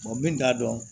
min t'a dɔn